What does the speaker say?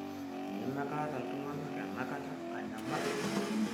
eneme kaata tunganak enakata anyamal